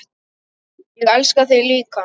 Ég elska þig líka.